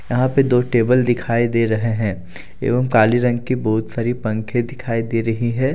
यहां पे दो टेबल दिखाई दे रहे हैं एवम काले रंग की बहुत सारी पंखे दिखाई दे रही है।